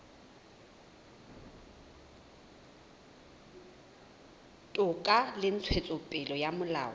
toka le ntshetsopele ya molao